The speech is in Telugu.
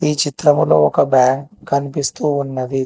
ఈ చిత్రంలో ఒక బ్యాంక్ కనిపిస్తూ ఉన్నది